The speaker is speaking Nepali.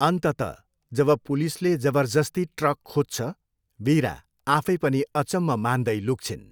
अन्ततः, जब पुलिसले जबरजस्ती ट्रक खोज्छ, वीरा, आफै पनि अचम्म मान्दै लुक्छिन्।